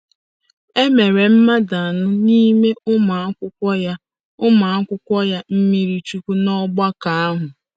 E mere mmadụ anọ n’ime ụmụ akwụkwọ ya ụmụ akwụkwọ ya mmiri chukwu ná ọgbakọ ahụ.